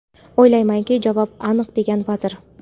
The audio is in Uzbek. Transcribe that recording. O‘ylaymanki, javob aniq, degan vazir.